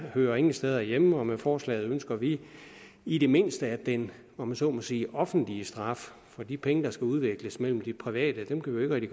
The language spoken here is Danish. hører ingen steder hjemme og med forslaget ønsker vi i det mindste at den om jeg så må sige offentlige straf for de penge der skal udveksles mellem private kan vi